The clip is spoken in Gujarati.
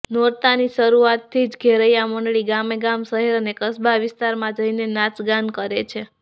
નોરતાની શરૃઆતથી જ ઘેરિયા મંડળી ગામેગામ શહેર અને કસબા વિસ્તારમાં જઈને નાચગાન કરે છે